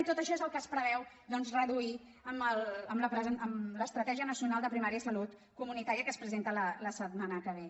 i tot això és el que es preveu doncs reduir amb l’estratègia nacional de primària i salut comunitària que es presenta la setmana que ve